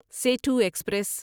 Setu express